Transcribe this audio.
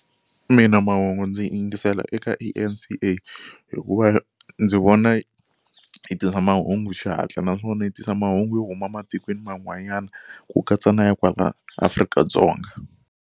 Mina mahungu ndzi yingisela eka eN_C_A hikuva ndzi vona yi tisa mahungu xihatla naswona yi tisa mahungu yo huma ematikweni man'wanyana ku katsa na ya kwala Afrika-Dzonga.